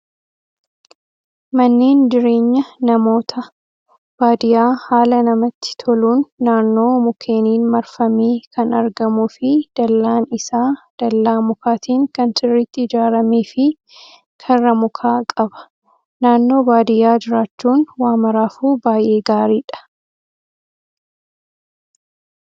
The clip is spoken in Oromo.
Manneen jireenya namoota baadiyyaa haala namatti toluun naannoo mukkeeniin marfamee kan argamuu fi dallaan isaa dallaa mukaatiin kan sirriitti ijaaramee fi karra mukaa qaba. Naannoo baadiyyaa jiraachuun waa maraafuu baay'ee gaariidha.